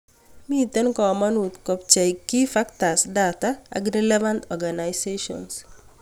Mitei komonut kopchei key factors data ak relevant organisations